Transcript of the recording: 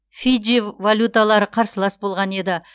фиджи валюталары қарсылас болған еді